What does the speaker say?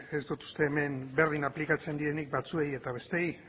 ez dut uste hemen berdin aplikatzen direnik batzuei eta besteei